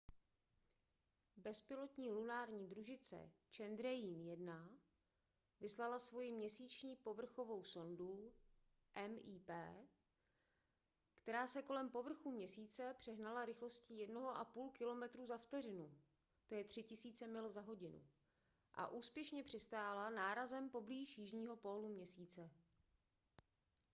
bezpilotní lunární družice chandrayaan-1 vyslala svoji měsíční povrchovou sondu mip která se kolem povrchu měsíce přehnala rychlostí 1,5 kilometru za vteřinu 3000 mil za hodinu a úspěšně přistála nárazem poblíž jižního pólu měsíce